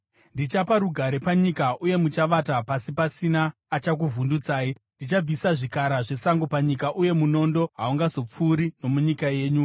“ ‘Ndichapa rugare panyika, uye muchavata pasi pasina achakuvhundutsai. Ndichabvisa zvikara zvesango panyika, uye munondo haungazopfuuri nomunyika yenyu.